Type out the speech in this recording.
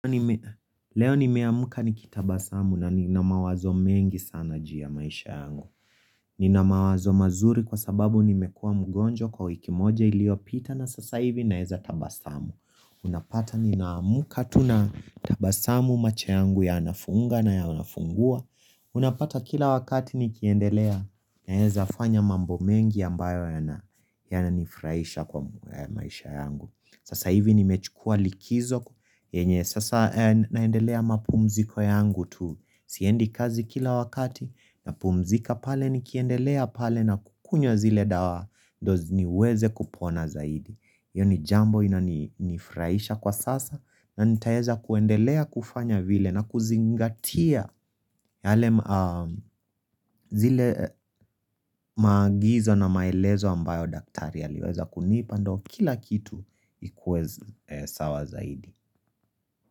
Leo nimeamuka ni kitabasamu na nina mawazo mengi sana juu ya maisha yangu Nina mawazo mazuri kwa sababu nimekua mgonjwa kwa wiki moja iliyo pita na sasa hivi naeza tabasamu Unapata ninaamuka tu natabasamu macho yangu ya nafunga na ya nafungua Unapata kila wakati ni kiendelea naweza fanya mambo mengi ambayo ya na nifuraisha kwa maisha yangu Sasa hivi nimechukua likizo yenye sasa naendelea mapumziko yangu tu Siendi kazi kila wakati na pumzika pale ni kiendelea pale na kukunyowa zile dawa dozi niweze kupona zaidi hiyo ni jambo ina nifraisha kwa sasa na nitaweza kuendelea kufanya vile na kuzingatia yale zile maagizo na maelezo ambayo daktari aliweza kunipa ndo kila kitu ikuwe sawa zaidi.